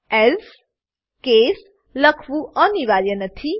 else case else case લખવું અનિવાર્ય નથી